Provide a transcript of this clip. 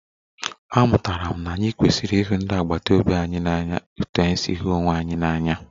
Amụtara m na anyị kwesịrị ịhụ ndị agbata obi anyị n'anya otú anyị si hụ onwe anyị n'anya